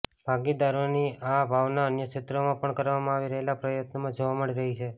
ભાગીદારીની આ ભાવના અન્ય ક્ષેત્રોમાં પણ કરવામાં આવી રહેલા પ્રયત્નોમાં જોવા મળી રહી છે